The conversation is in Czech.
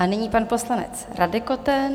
A nyní pan poslanec Radek Koten.